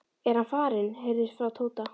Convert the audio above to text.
er hann farinn? heyrðist frá Tóta.